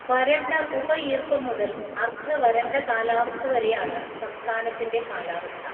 വരണ്ട ഉപഈർപ്പം മുതൽ അർദ്ധ വരണ്ട കാലാവസ്ഥ വരെയാണ് സംസ്ഥാനത്തിന്റെ കാലാവസ്ഥ.